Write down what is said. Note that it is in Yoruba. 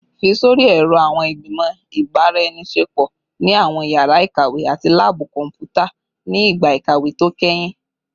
Fi sori ẹrọ awọn igbimọ ibaraenisepo ni awọn yara ikawe ati laabu kọnputa ni igba ikawe to kẹhin